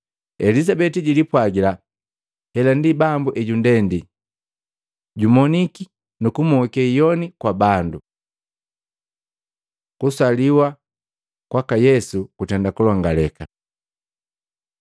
Elizabeti jilipwagila, “Hela ndi Bambu ejundendi, jumoniki nu kumoke hiyoni kwa bandu.” Kusaliwa kwaka Yesu kutenda kulongaleka.